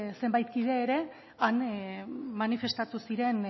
zenbait kide ere han manifestatu ziren